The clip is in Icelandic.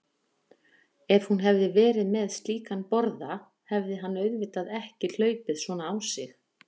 Ef hún hefði verið með slíkan borða hefði hann auðvitað ekki hlaupið svona á sig.